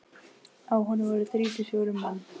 Á honum voru þrír til fjórir menn.